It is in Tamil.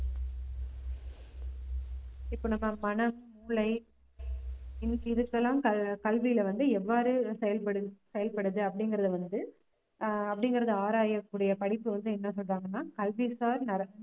இப்ப நம்ம மனம், மூளை இன்னைக்கு இதுக்கெல்லாம் ஆஹ் க~ கல்வியில வந்து எவ்வாறு செயல்படு~ செயல்படுது அப்படிங்கிறதை வந்து ஆஹ் அப்படிங்கறத ஆராயக்கூடிய படிப்பு வந்து என்ன சொல்றாங்கன்னா கல்வி சார் நரம்பு